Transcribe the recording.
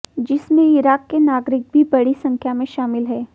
जिसमें इराक के नागरिक भी बड़ी संख्या में शामिल है